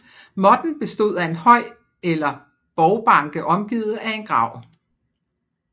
Motten bestod af en høj eller borgbanke omgivet af en grav